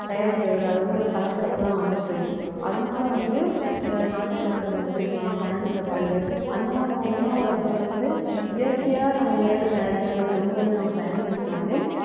தயாரிக்கிறது இல்லை அது வந்து ஒரு கலப்படத்துலதான் வந்துட்டு இருக்கு அதனால வந்து இந்த நாட்டுச் சர்க்கரை பயன்படுத்தலாம் பனங்கற்கண்டு அந்த மாதிரி நம்ம உணவு வழக்கங்களை வந்து இயற்கையா நம்ம மேல் தயாரிக்கிறதை கொண்டு வந்து நம்ம பயன்படுத்தினாலே